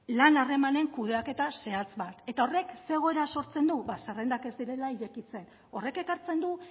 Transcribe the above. lan harremanen kudeaketa zehatz bat eta horrek ze egoera sortzen du ba zerrendak ez direla irekitzen horrek ekartzen du